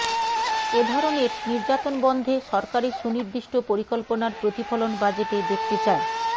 এ ধরনের নির্যাতন বন্ধে সরকারের সুনির্দিষ্ট পরিকল্পনার প্রতিফলন বাজেটে দেখতে চায়